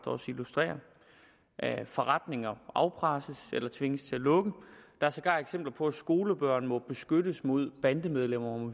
også illustrerer forretninger afpresses eller tvinges til at lukke der er sågar eksempler på at skolebørn må beskyttes mod bandemedlemmer